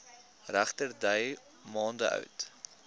regterdy maande oud